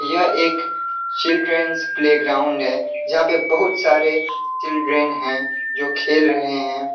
यह एक children's playground है जहां पे बहुत सारे चिल्ड्रेंन हैं जो खेल रहे हैं।